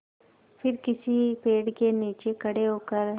फिर किसी पेड़ के नीचे खड़े होकर